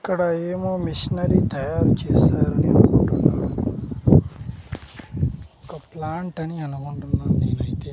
ఇక్కడ ఏమో మిషనరీ తయారు చేశారని అనుకుంటున్నాను ఒక ప్లాంట్ అని అనుకుంటున్నా నేనైతే.